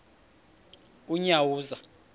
unyawuza